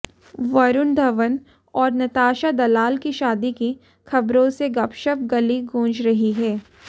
वरूण धवन और नताशा दलाल की शादी की खबरों से गपशप गली गूंज रही है